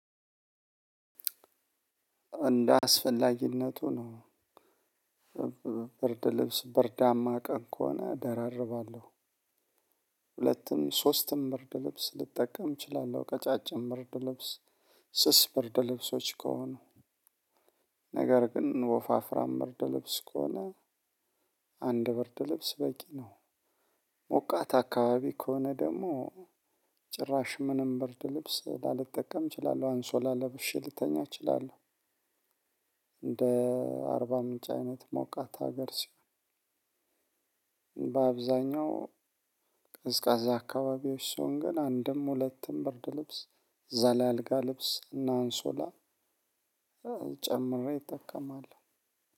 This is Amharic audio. እንደ አስፈላጊነቱ ነው ብርድ ልብስ ብርዳማ ቀን ከሆነ እደራርባለሁ። ሁለትም ሶስትም ብርድ ልብስ ልጠቀም እችላለሁ። ቀጫጭን ብርድ ልብስ ስስ ምርድ ልብሶች ከሆኑ ነገር ግን ወፋፍራም በርድ ልብስ ከሆነ አንድ በርድ ልብስ በቂ ነው። ሞቃት አካባቢ ከሆነ ደግሞ ጭራሽ ምንም ብርድ ልብስ ላልጠቀም እችላለሁ አንሶላ ለብሼ ልተኛ እችላለሁ። እንደ አርባ ምንጭ አይነት ሞቃታ ሀገር ሲሆን በአብዛኛው ቅዝቃዜ አካባቢዎች ሰውን ግን አንድም ሁለትም ብርድ ልብስ አልጋ ልብስ እና አንሶላ ጨምሬ እጠቀማለሁ።